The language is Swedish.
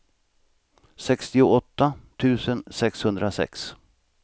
sextioåtta tusen sexhundrasex